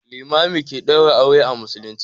Limami ke ɗaura aure a musulmci.